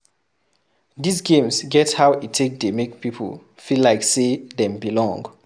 These games get how e take dey make people feel like sey dem belong